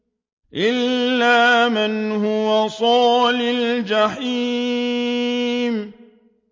إِلَّا مَنْ هُوَ صَالِ الْجَحِيمِ